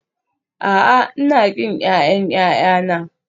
A'a, Ina ƙin ƴaƴan ƴaƴana